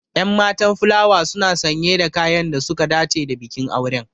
Ƴan matan fulawa suna sanye da kayan da suka dace da bikin auren.